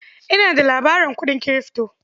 Ina da labarin kuɗin kirifto.